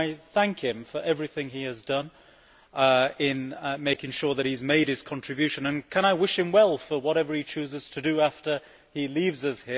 I thank him for everything he has done in making sure that he has made his contribution and I wish him well for whatever he chooses to do after he leaves us.